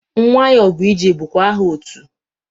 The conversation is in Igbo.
Nwayọbụije bụkwa aha otu.